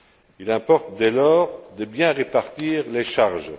Il importe, dès lors, de bien répartir les charges.